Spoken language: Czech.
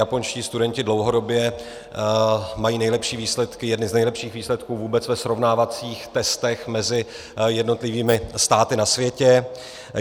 Japonští studenti dlouhodobě mají nejlepší výsledky, jedny z nejlepších výsledků vůbec ve srovnávacích testech mezi jednotlivými státy na světě.